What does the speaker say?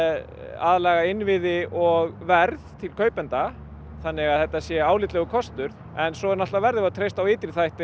aðlaga innviði og verð til kaupenda þannig að þetta sé álitlegur kostur en svo náttúrulega verðum við að treysta á ytri þætti